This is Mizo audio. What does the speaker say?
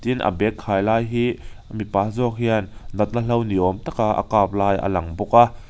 tin a bag khai lai hi mipa zawk hian natna hlo ni awm taka a kap lai a lang bawk a.